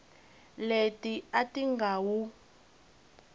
leti a ti nga wu